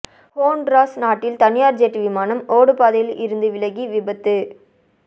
Honduras நாட்டில் தனியார் jet விமானம் ஓடுபாதையில் இருந்து விலகி விபத்து